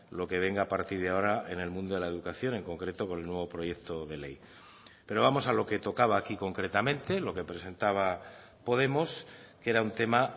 lo que venga a partir de ahora en el mundo de la educación en concreto con el nuevo proyecto de ley pero vamos a lo que tocaba aquí concretamente lo que presentaba podemos que era un tema